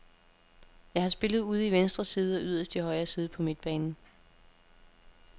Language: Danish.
Jeg har spillet ude i venstre side og yderst i højre side på midtbanen.